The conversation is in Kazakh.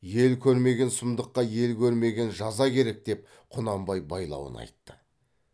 ел көрмеген сұмдыққа ел көрмеген жаза керек деп құнанбай байлауын айтты